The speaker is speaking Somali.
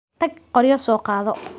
Tag qoryo soo qaado.